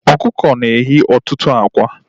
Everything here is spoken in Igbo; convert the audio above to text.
Ọkụkọ na-eyi ọtụtụ ákwá